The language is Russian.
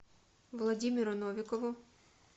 владимиру новикову